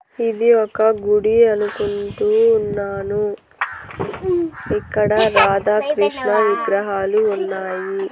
ఇది ఒక గుడి అనుకుంటూ ఉన్నాను ఇక్కడ రాధాకృష్ణ విగ్రహాలు ఉన్నాయి.